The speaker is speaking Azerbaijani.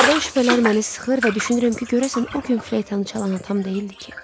Hərdən şübhələr məni sıxır və düşünürəm ki, görəsən o gün fleytanı çalan atam deyildi ki?